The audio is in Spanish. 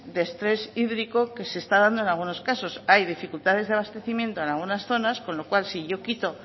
de estrés hídrico que se está dando en algunos casos hay dificultades de abastecimiento en algunas zonas con lo cual si yo quito